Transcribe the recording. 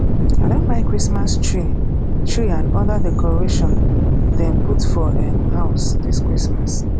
i don buy christmas tree tree and oda decoration dem put for um house dis christmas